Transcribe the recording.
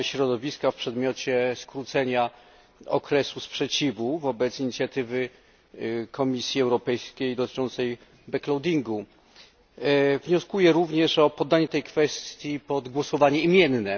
środowiska w przedmiocie skrócenia okresu sprzeciwu wobec inicjatywy Komisji Europejskiej dotyczącej Wnioskuję również o poddanie tej kwestii pod głosowanie imienne.